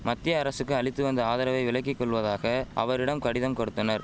மத்திய அரசுக்கு அளித்து வந்த ஆதரவை விலக்கிக்கொள்வதாக அவரிடம் கடிதம் கொடுத்தனர்